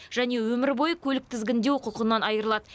және өмір бойы көлік тізгіндеу құқығынан айырылады